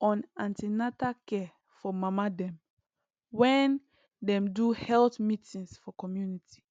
on an ten atal care for mama dem wen dem dey do health meetings for community